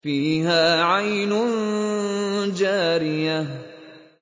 فِيهَا عَيْنٌ جَارِيَةٌ